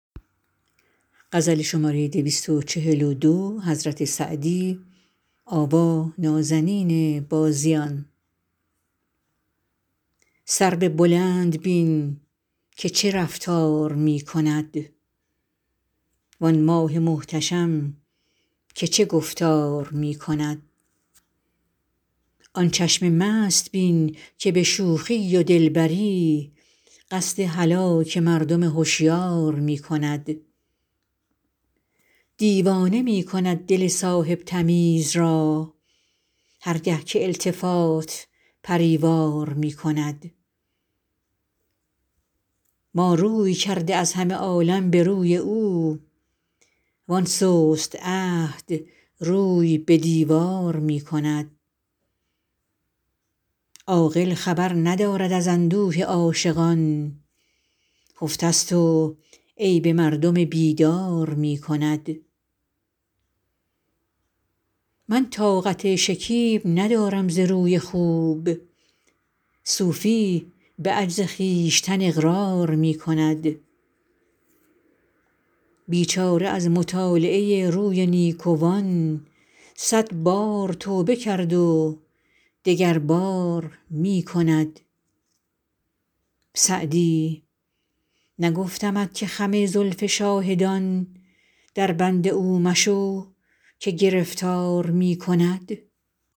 سرو بلند بین که چه رفتار می کند وآن ماه محتشم که چه گفتار می کند آن چشم مست بین که به شوخی و دلبری قصد هلاک مردم هشیار می کند دیوانه می کند دل صاحب تمیز را هر گه که التفات پری وار می کند ما روی کرده از همه عالم به روی او وآن سست عهد روی به دیوار می کند عاقل خبر ندارد از اندوه عاشقان خفته ست و عیب مردم بیدار می کند من طاقت شکیب ندارم ز روی خوب صوفی به عجز خویشتن اقرار می کند بیچاره از مطالعه روی نیکوان صد بار توبه کرد و دگربار می کند سعدی نگفتمت که خم زلف شاهدان دربند او مشو که گرفتار می کند